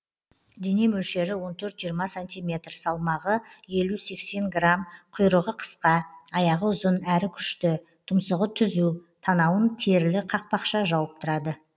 дене мөлшері он төрт жиырма сантиметр салмағы елу сексен грамм құйрығы қысқа аяғы ұзын әрі күшті тұмсығы түзу танауын терілі қақпақша жауып тұрады